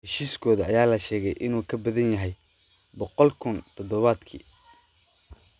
heshiiskooda ayaa la sheegay in uu ka badan yahay £100,000 todobaadkii.